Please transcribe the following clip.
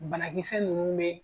Banakisɛ nunnu be